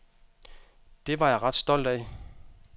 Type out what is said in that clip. Det var jeg ret stolt af.